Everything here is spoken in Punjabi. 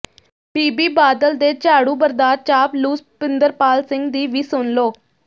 ਬੀਬੀ ਬਾਦਲ ਦੇ ਝਾੜੂਬਰਦਾਰ ਚਾਪਲੂਸ ਪਿੰਦਰਪਾਲ ਸਿੰਘ ਦੀ ਵੀ ਸੁਣ ਲਓ